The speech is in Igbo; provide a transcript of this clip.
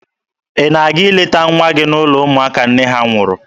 Ị na-aga ileta nwa gị n'ụlọ ụmụaka nne ha nwụrụ?